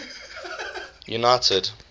united